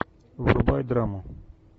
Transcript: врубай драму